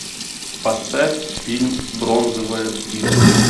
поставь фильм бронзовая птица